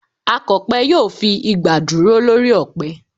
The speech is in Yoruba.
Akọ̀pẹ yóò fi igbà dúró lórí ọ̀pẹ